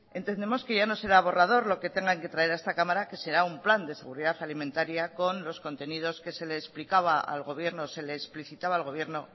entendemos que ya no será borrador lo que tengan que traer a esta cámara que será un plan de seguridad alimentaria con los contenidos que se le explicaba al gobierno se le explicitaba al gobierno